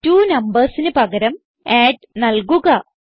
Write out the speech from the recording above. addTwoNumbersന് പകരം അഡ് നൽകുക